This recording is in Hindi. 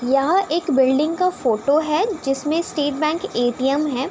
यहाँ एक बिल्डिंग का फ़ोटो है जिसमें स्टेट बैंक ए.टी.एम. है |